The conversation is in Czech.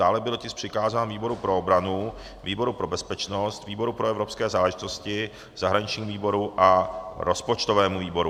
Dále byl tisk přikázán výboru pro obranu, výboru pro bezpečnost, výboru pro evropské záležitosti, zahraničnímu výboru a rozpočtovému výboru.